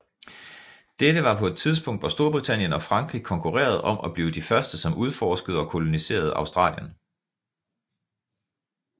Dette var på et tidspunkt hvor Storbritannien og Frankrig konkurrerede om at blive de første som udforskede og koloniserede Australien